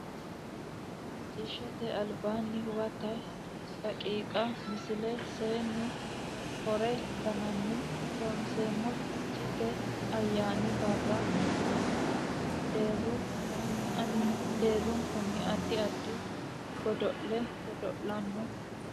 Macciishshate Albiidi Huwato daqiiqa Misile Seennu Hore Ga nanna Loonseemmo Ficheete ayyaani barra mannu deerru kayinni ani deerrunkunni addi addi godo le godo lanno.